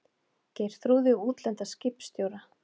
Geirþrúði og útlenda skipstjóra.